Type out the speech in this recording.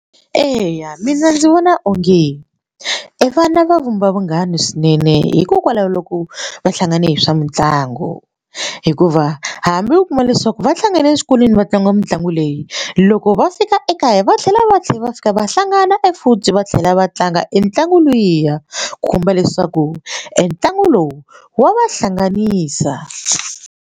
Eya mina ndzi vona onge evana va vumba vunghana swinene hikokwalaho loko va hlangane hi swa mitlangu hikuva hambi u kuma leswaku va hlangane eswikolweni vatsongo mitlangu leyi loko va fika ekaya va tlhela va tlhela va fika va hlangana e futhi va tlhela va tlanga e ntlangu luya khumba leswaku e ntlangu lowu wa va hlanganisa.